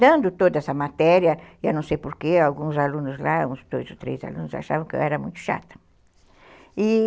dando toda essa matéria, e eu não sei porquê, alguns alunos lá, uns dois ou três alunos, achavam que eu era muito chata, e